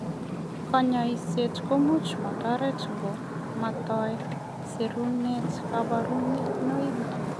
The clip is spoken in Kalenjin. Kanyoiset ko much ma toret ngo matoi sirunet kabarunoik.